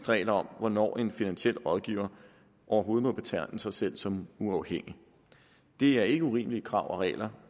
regler om hvornår en finansiel rådgiver overhovedet må betegne sig selv som uafhængig det er ikke urimelige krav og regler